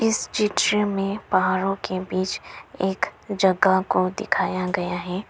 इस चित्र में पहाड़ों के बीच एक जगह को दिखाया गया है।